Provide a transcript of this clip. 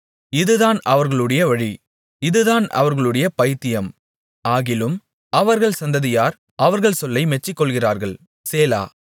இதுதான் அவர்களுடைய வழி இதுதான் அவர்களுடைய பைத்தியம் ஆகிலும் அவர்கள் சந்ததியார் அவர்கள் சொல்லை மெச்சிக்கொள்ளுகிறார்கள் சேலா